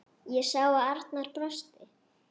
Ég sá að Arnar brosti.